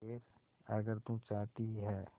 खैर अगर तू चाहती ही है